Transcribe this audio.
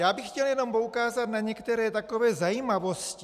Já bych chtěl jenom poukázat na některé takové zajímavosti.